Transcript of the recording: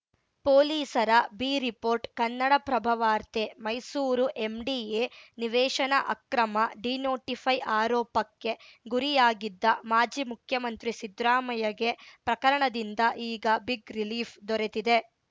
ಪೊಲೀಸರ B report Kannadaprabha ವಾರ್ತೆ Mysuru MDA ನಿವೇಶನ ಅಕ್ರಮ ಡಿನೋಟಿಫೈ ಆರೋಪಕ್ಕೆ ಗುರಿಯಾಗಿದ್ದ ಮಾಜಿ ಮುಖ್ಯಮಂತ್ರಿ ಸಿದ್ರಾಮಯ್ಯಗೆ ಪ್ರಕರಣದಿಂದ ಈಗ ಬಿಗ್‌ ರಿಲೀಫ್‌ ದೊರೆತಿದೆ